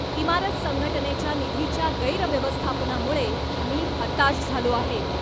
इमारत संघटनेच्या निधीच्या गैरव्यवस्थापनामुळे मी हताश झालो आहे.